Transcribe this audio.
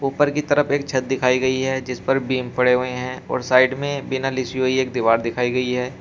ऊपर की तरफ एक छत दिखाई गई है जिस पर बीम पड़े हुए हैं और साइड में बिना लिसी हुई एक दीवार दिखाई गई है।